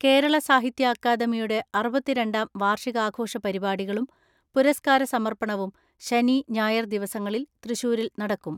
കേരള സാഹിത്യ അക്കാദമിയുടെ അറുപത്തിരണ്ടാം വാർഷികാ ഘോഷ പരിപാടികളും പുരസ്കാര സമർപ്പണവും ശനി, ഞായർ ദിവസങ്ങളിൽ തൃശൂരിൽ നടക്കും.